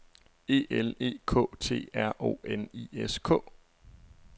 E L E K T R O N I S K